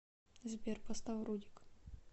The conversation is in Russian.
сбер поставь рудик